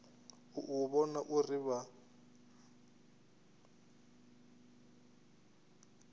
u u vhona uri vha